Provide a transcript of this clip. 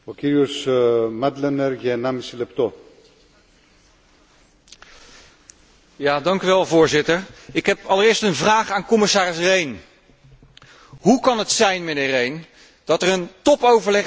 Voorzitter, ik heb allereerst een vraag aan commissaris Rehn hoe kan het zijn, mijnheer Rehn, dat er topoverleg is gevoerd door de eurogroep onder leiding van de heer Juncker en dat onze Nederlandse minister van Financiën